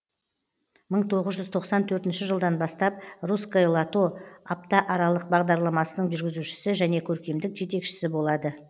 мың тоғыз жүз тоқсан төртінші жылдан бастап русское лото апта аралық бағдарламасының жүргізушісі және көркемдік жетекшісі болады